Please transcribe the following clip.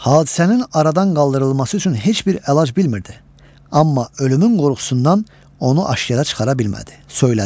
Hadisənin aradan qaldırılması üçün heç bir əlac bilmirdi, amma ölümün qorxusundan onu aşkara çıxara bilmədi, söylədi.